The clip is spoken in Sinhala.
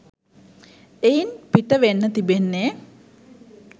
එයින් පිටවෙන්න තිබෙන්නේ